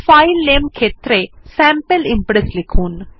file নামে ক্ষেত্রে sample Impress লিখুন